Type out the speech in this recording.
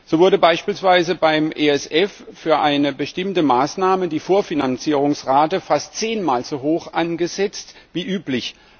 So wurde beispielsweise beim ESF für eine bestimmte Maßnahme die Vorfinanzierungsrate fast zehnmal so hoch angesetzt wie üblich.